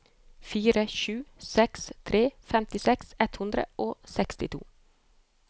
fire sju seks tre femtiseks ett hundre og sekstito